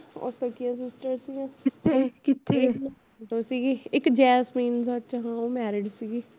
ਉਹ ਸਖੀਆ sisters ਸੀਆ ਇਕ ਜੈਸਮਿੰਨ ਸੱਚ ਉਹ married ਸੀਗੀ